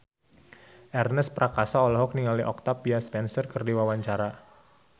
Ernest Prakasa olohok ningali Octavia Spencer keur diwawancara